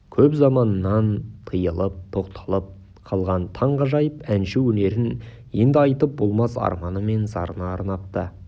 көп заманнан тыйылып тоқталып қалған ғажайып әнші өнерін енді айтып болмас арманы мен зарына арнапты